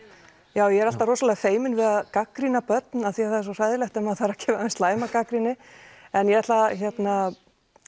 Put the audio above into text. já ég er alltaf rosalega feimin við að gagnrýna börn af því það er svo hræðilegt ef maður þarf að gefa þeim slæma gagnrýni en ég ætla að